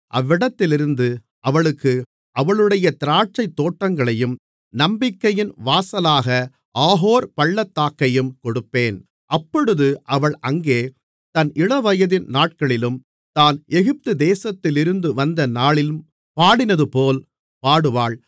அவ்விடத்திலிருந்து அவளுக்கு அவளுடைய திராட்சைத் தோட்டங்களையும் நம்பிக்கையின் வாசலாக ஆகோர் பள்ளத்தாக்கையும் கொடுப்பேன் அப்பொழுது அவள் அங்கே தன் இளவயதின் நாட்களிலும் தான் எகிப்துதேசத்திலிருந்து வந்த நாளிலும் பாடினதுபோல் பாடுவாள்